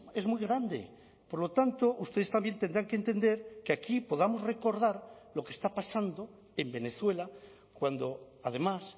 es muy grande por lo tanto ustedes también tendrán que entender que aquí podamos recordar lo que está pasando en venezuela cuando además